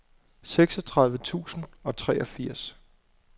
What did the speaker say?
seksogtredive tusind og treogfirs